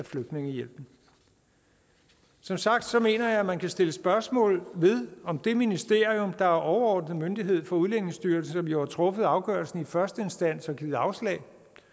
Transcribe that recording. flygtningehjælp som sagt mener jeg at man kan stille spørgsmål ved om det ministerium der er overordnet myndighed for udlændingestyrelsen som jo har truffet afgørelsen i første instans og givet afslag